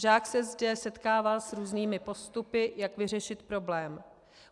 Žák se zde setkává s různými postupy, jak vyřešit problém.